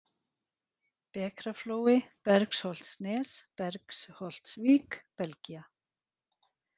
Bekraflói, Belgsholtsnes, Belgsholtsvík, Belgía